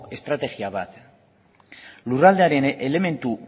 estrategia bat lurraldearen elementu